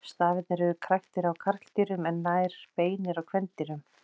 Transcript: Stafirnir eru kræktir á karldýrum en nær beinir á kvendýrum.